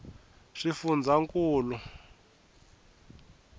swifundzankulu